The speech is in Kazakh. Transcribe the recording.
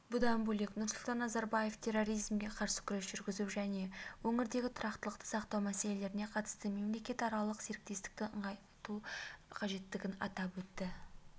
бұдан бөлек нұрсұлтан назарбаев терроризмге қарсы күрес жүргізу және өңірдегі тұрақтылықты сақтау мәселелеріне қатысты мемлекетаралық серіктестікті нығайту қажеттігін атап өтті